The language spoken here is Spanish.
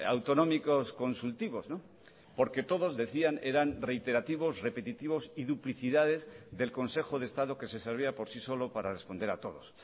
autonómicos consultivos porque todos decían que eran reiterativos repetitivos y duplicidades del consejo de estado que se servía por sí solo para responder a todos